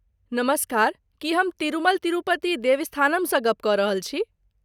नमस्कार! की हम तिरुमल तिरुपति देवस्थानमसँ गप्प कऽ रहल छी?